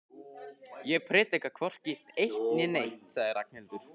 Ég predika hvorki eitt né neitt sagði Ragnhildur.